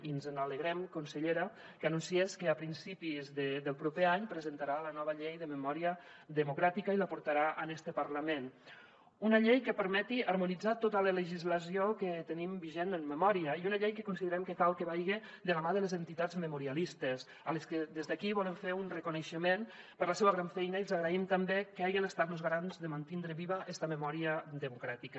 i ens alegrem consellera que anunciés que a principis del proper any presentarà la nova llei de memòria democràtica i la portarà en este parlament una llei que permeti harmonitzar tota la legislació que tenim vigent en memòria i una llei que considerem que cal que vaja de la mà de les entitats memorialistes a les que des d’aquí volem fer un reconeixement per la seua gran feina i els agraïm també que hagen estat los garants de mantindre viva esta memòria democràtica